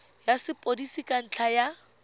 ya sepodisi ka ntlha ya